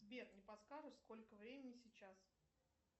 сбер не подскажешь сколько времени сейчас